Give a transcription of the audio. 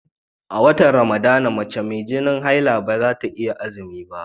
A watan Ramadana, mace mai jinin haila ba za ta iya azumi ba.